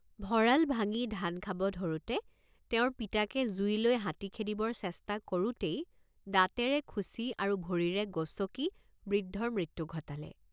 ভঁৰাল ভাঙি ধান খাব ধৰোঁতে তেওঁৰ পিতাকে জুই লৈ হাতী খেদিবৰ চেষ্টা কৰোঁতেই দাঁতেৰে খুচি আৰু ভৰিৰে গচকি বৃদ্ধৰ মৃত্যু ঘটালে।